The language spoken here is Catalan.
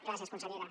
gràcies consellera